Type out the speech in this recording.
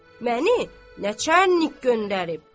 məni naçarnik göndərib.